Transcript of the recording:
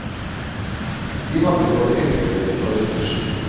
De mangler både helsevesen og ressurser.